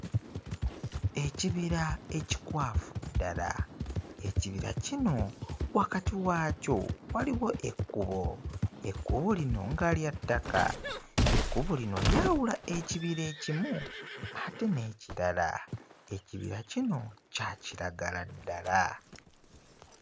Ekibira ekikwafu ddala ekibira kino wakati waakyo waliwo ekkubo ekkubo lino nga lya ttaka ekkubo lino lyawula ekibira ekimu ate n'ekirala ekibira kino kya kiragala ddala.